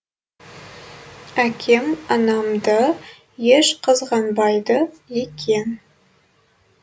әкем анамды еш қызғанбайды екен